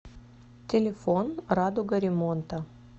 телефон радуга ремонта